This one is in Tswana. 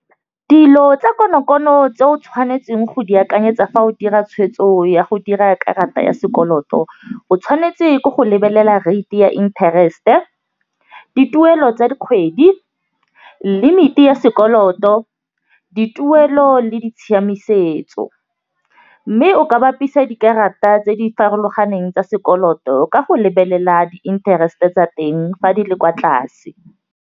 Dilo tsa konokono tse o tshwanetseng go di akanyetsa fa o dira tshwetso ya go dira karata ya sekoloto, o tshwanetse ke go lebelela rate ya interest-e, dituelo tsa dikgwedi, limit-i ya sekoloto, dituelo le di tshiamisetso. Mme o ka bapisa dikarata tse di farologaneng tsa sekoloto ka go lebelela di-interest-e tsa teng fa di le kwa tlase.